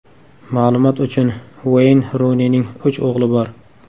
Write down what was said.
Ma’lumot uchun, Ueyn Runining uch o‘g‘li bor.